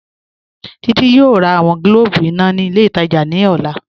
Títí yọọ̀ rà awọn gílòbù iná ni ilẹ̀ itajà ni ọlá